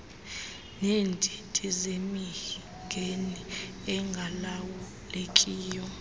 neendidi zemingeni engalawulekiyo